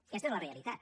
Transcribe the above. aquesta és la realitat